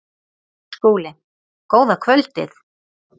SKÚLI: Góða kvöldið!